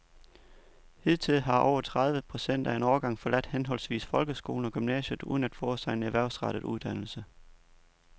Hidtil har over tredive procent af en årgang forladt henholdsvis folkeskolen og gymnasiet uden at få sig en erhvervsrettet uddannelse.